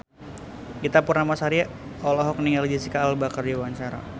Ita Purnamasari olohok ningali Jesicca Alba keur diwawancara